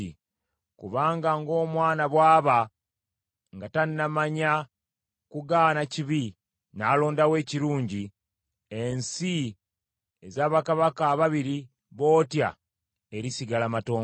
Kubanga ng’omwana bw’aba nga tannamanya kugaana kibi n’alondawo ekirungi, ensi eza bakabaka ababiri bootya erisigala matongo.